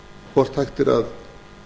hvort hægt sé að